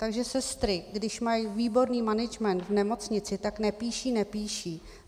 Takže sestry, když mají výborný management v nemocnici, tak nepíší, nepíší.